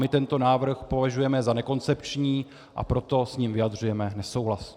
My tento návrh považujeme za nekoncepční, a proto s ním vyjadřujeme nesouhlas.